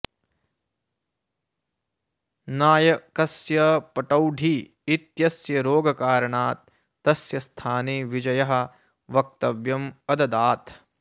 नायकस्य पटौडी इत्यस्य रोगकारणात् तस्य स्थाने विजयः वक्तव्यम् अददात्